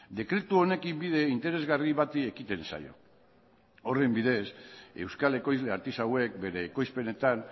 dekretu honekin bide interesgarri bati ekiten zaio horren bidez euskal ekoizle artisauek bere ekoizpenetan